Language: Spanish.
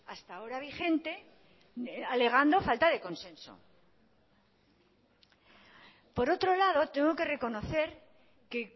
hasta ahora vigente alegando falta de consenso por otro lado tengo que reconocer que